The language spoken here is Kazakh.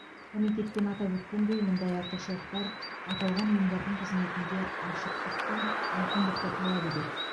комитеттен атап өткендей мұндай артықшылықтар аталған ұйымдардың қызметінде ашықтық пен айқындықты талап етеді